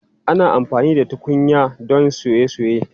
Ana amfani da tukunyan tuya don soye soye.